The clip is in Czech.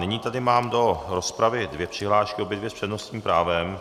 Nyní tady mám do rozpravy dvě přihlášky, obě dvě s přednostním právem.